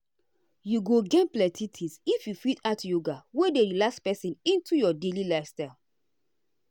you go gain plenty things if you fit add yoga wey dey relax person into your daily lifestyle.